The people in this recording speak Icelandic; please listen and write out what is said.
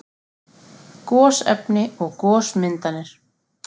Gosefni og gosmyndanir